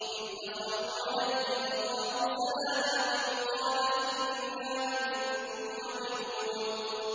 إِذْ دَخَلُوا عَلَيْهِ فَقَالُوا سَلَامًا قَالَ إِنَّا مِنكُمْ وَجِلُونَ